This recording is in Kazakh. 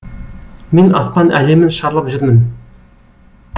мен аспан әлемін шарлап жүрмін